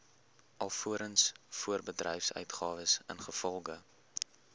alvorens voorbedryfsuitgawes ingevolge